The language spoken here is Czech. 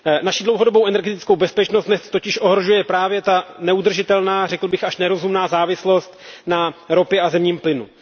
Naši dlouhodobou energetickou bezpečnost dnes totiž ohrožuje právě ta neudržitelná, řekl bych až nerozumná závislost na ropě a zemním plynu.